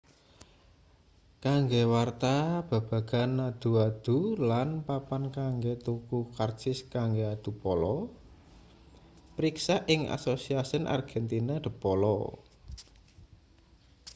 kanggo warta babagan adu-adu lan papan kanggo tuku karcis kanggo adu polo priksa ing asociacion argentina de polo